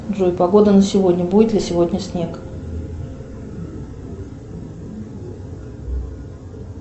джой погода на сегодня будет ли сегодня снег